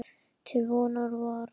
Til vonar og vara.